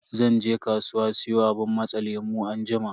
Zan je kasuwa siyo abun matsa lemu anjima.